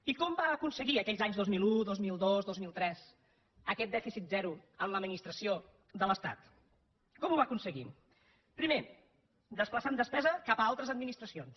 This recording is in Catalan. i com va aconseguir aquells anys dos mil un dos mil dos dos mil tres aquest dèficit zero a l’administració de l’estat com ho va aconseguir primer desplaçant despesa cap a altres administracions